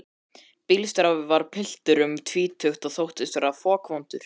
Bílstjórinn var piltur um tvítugt og þóttist vera fokvondur.